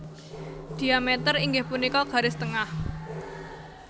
Dhiameter inggih punika garis tengah